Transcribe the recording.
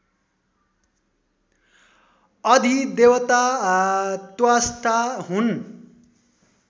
अधिदेवता त्वष्टा हुन्